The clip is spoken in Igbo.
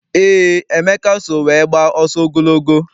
Eé, Emeka so wee gbaa ọsọ ogologo.